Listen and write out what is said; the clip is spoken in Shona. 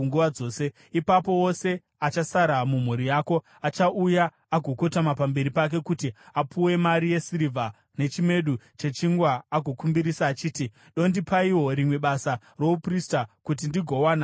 Ipapo wose achasara mumhuri yako achauya agokotama pamberi pake kuti apiwe mari yesirivha nechimedu chechingwa agokumbirisa achiti, “Dondipaiwo rimwe basa rouprista kuti ndingowana zvokudya.” ’”